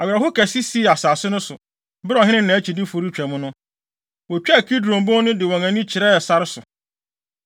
Awerɛhow kɛse sii asase no so, bere a ɔhene ne nʼakyidifo retwa mu no. Wotwaa Kidron Bon no de wɔn ani kyerɛɛ sare so.